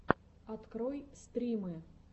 открой стримы